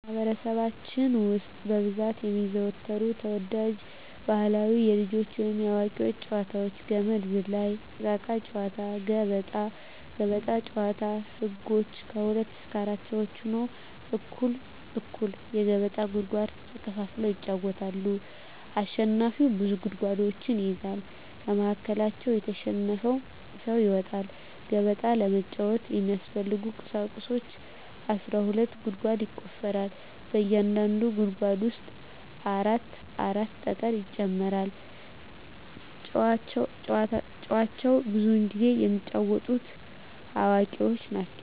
በማህበረሰባችን ውስጥ በብዛት የሚዘወተሩ ተወዳጅ ባህላዊ የልጆች ወይንም የአዋቂዎች ጨዋታዎች - ገመድ ዝላይ፣ እቃቃ ጨዎታ፣ ገበጣ። ገበጣ ጨዎታ ህጎች ከሁለት እስከ አራት ሰው ሁነው እኩል እኩል የገበጣ ጉድጓድ ተከፋፍለው ይጫወታሉ አሸናፊው ብዙ ጉድጓዶችን ይይዛል ከመሀከላቸው የተሸነፈው ሰው ይወጣል። ገበጣ ለመጫወት የሚያስፈልጊ ቁሳቁሶች አስራ ሁለት ጉድጓድ ይቆፈራል በእያንዳንዱ ጉድጓድ ውስጥ አራት አራት ጠጠር ይጨመራል። ጨዎቸውን ብዙውን ጊዜ የሚጫወቱት አዋቂዎች ናቸው።